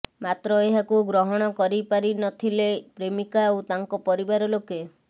ମାତ୍ର ଏହାକୁ ଗ୍ରହଣ କରିପାରି ନ ଥିଲେ ପ୍ରେମକା ଓ ତାଙ୍କ ପରିବାର ଲୋକେ